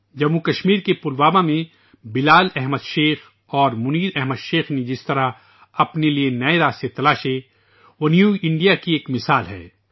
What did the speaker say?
جموں و کشمیر کے پلوامہ میں بلال احمد شیخ اور منیر احمد شیخ نے جس طرح اپنے لیے نئی راہیں تلاش کیں ، وہ نئے ہندوستان کی ایک مثال ہے